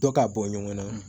Dɔ ka bɔ ɲɔgɔn na